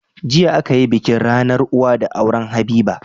Jiya akayi bikin rAnar uwa na auren habiba